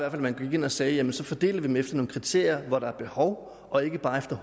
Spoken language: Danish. at man gik ind og sagde jamen så fordeler vi dem efter nogle kriterier hvor der er behov og ikke bare